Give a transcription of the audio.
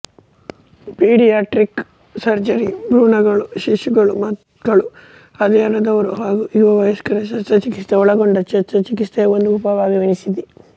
paediatric surgery ಭ್ರೂಣಗಳು ಶಿಶುಗಳು ಮಕ್ಕಳು ಹದಿಹರೆಯದವರು ಹಾಗೂ ಯುವ ವಯಸ್ಕರ ಶಸ್ತ್ರಚಿಕಿತ್ಸೆ ಒಳಗೊಂಡ ಶಸ್ತ್ರಚಿಕಿತ್ಸೆಯ ಒಂದು ಉಪವಿಭಾಗವೆನಿಸಿದೆ